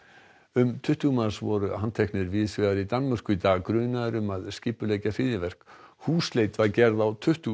um tuttugu manns voru handteknir víðs vegar í Danmörku í dag grunaðir um að skipuleggja hryðjuverk húsleit var gerð á tuttugu